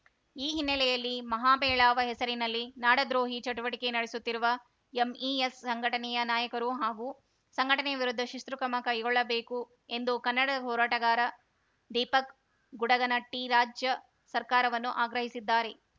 ಈ ಹಿನ್ನೆಲೆಯಲ್ಲಿ ಮಹಾಮೇಳಾವ ಹೆಸರಿನಲ್ಲಿ ನಾಡದ್ರೋಹಿ ಚಟುವಟಿಕೆ ನಡೆಸುತ್ತಿರುವ ಎಂಇಎಸ್‌ ಸಂಘಟನೆಯ ನಾಯಕರು ಹಾಗೂ ಸಂಘಟನೆ ವಿರುದ್ಧ ಶಿಸ್ತು ಕ್ರಮ ಕೈಗೊಳ್ಳಬೇಕು ಎಂದು ಕನ್ನಡ ಹೋರಾಟಗಾರ ದೀಪಕ್ ಗುಡಗನಟ್ಟಿರಾಜ್ಯ ಸರ್ಕಾರವನ್ನು ಆಗ್ರಹಿಸಿದ್ದಾರೆ